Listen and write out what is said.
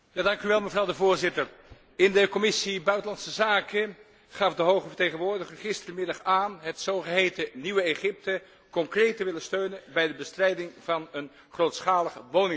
Voorzitter, in de Commissie buitenlandse zaken gaf de hoge vertegenwoordiger gisterenmiddag aan het zogeheten nieuwe Egypte concreet te willen steunen bij de bestrijding van het grootschalig woningtekort.